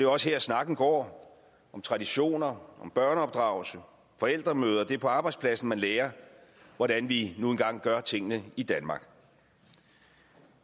også her snakken går om traditioner om børneopdragelse om forældremøder det er på arbejdspladsen man lærer hvordan vi nu engang gør tingene i danmark